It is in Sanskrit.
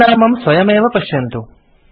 परिणामं स्वयमेव पश्यन्तु